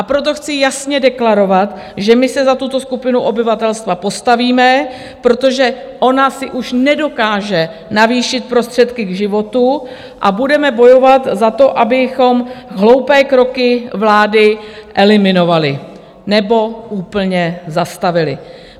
A proto chci jasně deklarovat, že my se za tuto skupinu obyvatelstva postavíme, protože ona si už nedokáže navýšit prostředky k životu, a budeme bojovat za to, abychom hloupé kroky vlády eliminovali nebo úplně zastavili.